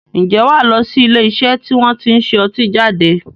Ǹjẹ́ wà lọ sí ilé iṣẹ́ tí wọn tí ń ṣe ọtí jáde?